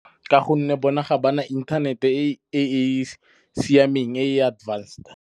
Ka gonne bona ga ba na inthanete e e siameng, e advanced.